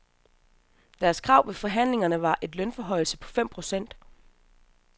Deres krav ved forhandlingerne var en lønforhøjelse på fem procent.